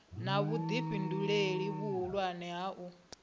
na vhuifhinduleli vhuhulwane ha u